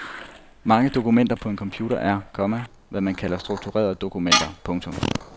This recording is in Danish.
Mange dokumenter på en computer er, komma hvad man kalder strukturerede dokumenter. punktum